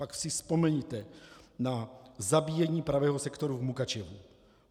Pak si vzpomeňte na zabíjení pravého sektoru v Mukačevu.